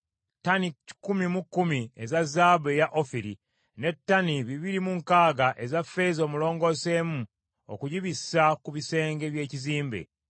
ttani kikumi mu kkumi eza zaabu eya Ofiri, ne ttani bibiri mu nkaaga eza ffeeza omulongoosemu okugibissa ku bisenge by’ekizimbe,